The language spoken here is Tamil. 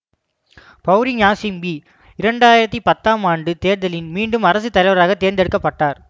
பௌரி ஞாசிங்பி இரண்டு ஆயிரத்தி பத்தாம் ஆண்டு தேர்தலில் மீண்டும் அரசுத்தலைவராகத் தேர்ந்தெடுக்க பட்டார்